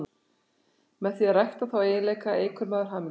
Með því að rækta þá eiginleika eykur maður hamingju sína.